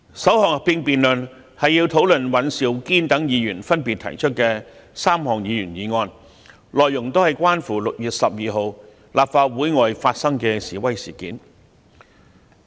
首項合併辯論是討論尹兆堅議員等提出的3項議員議案，內容都是關乎6月12日立法會外發生的示威事件。